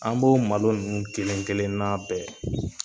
An b'o malo nunnu kelen kelen na bɛɛ